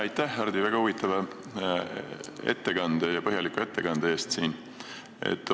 Aitäh, Hardi, väga huvitava ja põhjaliku ettekande eest!